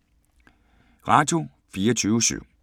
Radio24syv